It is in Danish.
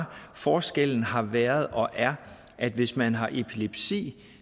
forskellen har været og er at hvis man har epilepsi